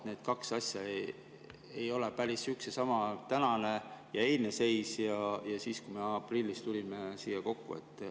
Need kaks asja ei ole päris üks ja sama, tänane ja eilne seis ja see, kui me aprillis tulime siia kokku.